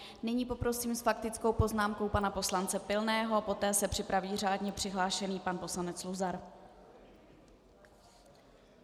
Nyní poprosím s faktickou poznámkou pana poslance Pilného a poté se připraví řádně přihlášený pan poslanec Luzar.